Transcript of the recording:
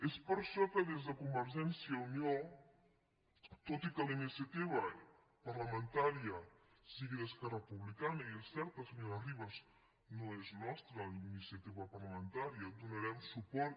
és per això que des de convergència i unió tot i que la iniciativa parlamentària sigui d’esquerra republi·cana i és cert senyora ribas no és nostra la iniciati·va parlamentària hi donarem suport